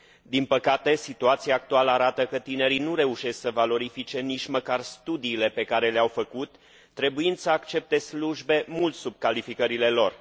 Din păcate, situația actuală arată că tinerii nu reușesc să valorifice nici măcar studiile pe care le au făcut, trebuind să accepte slujbe mult sub calificările lor.